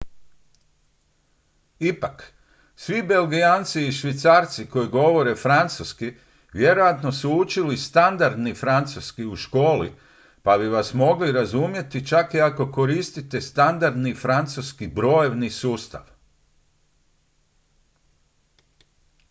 ipak svi belgijanci i švicarci koji govore francuski vjerojatno su učili standardni francuski u školi pa bi vas mogli razumjeti čak i ako koristite standardni francuski brojevni sustav